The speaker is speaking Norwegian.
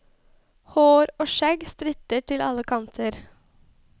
Hår og skjegg stritter til alle kanter.